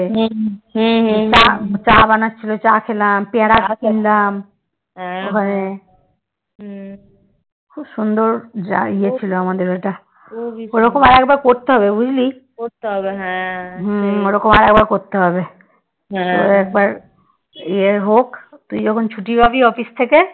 ইয়ে হোক তুই যখন ছুটি পাবি office থেকে